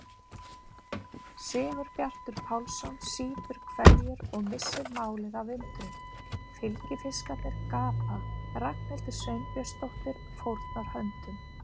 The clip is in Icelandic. Sigurbjartur Pálsson sýpur hveljur og missir málið af undrun, fylgifiskarnir gapa, Ragnhildur Sveinbjörnsdóttir fórnar höndum.